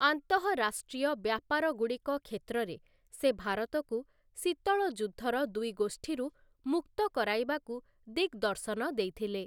ଆନ୍ତଃରାଷ୍ଟ୍ରୀୟ ବ୍ୟାପାରଗୁଡ଼ିକ କ୍ଷେତ୍ରରେ, ସେ ଭାରତକୁ ଶୀତଳ ଯୁଦ୍ଧର ଦୁଇ ଗୋଷ୍ଠୀରୁ ମୁକ୍ତ କରାଇବାକୁ ଦିଗ୍‌ଦର୍ଶନ ଦେଇଥିଲେ ।